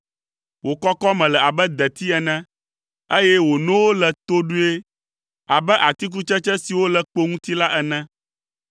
Wò kɔkɔme le abe deti ene, eye wò nowo le toɖoe abe atikutsetse siwo le kpo ŋuti la ene.